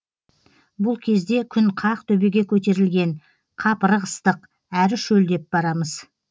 бұл кезде күн қақ төбеге көтерілген қапырық ыстық әрі шөлдеп барамыз